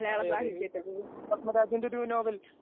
അതെയതെ. ഇ ഒ പത്മരാജന്റൊരൂ നോവൽ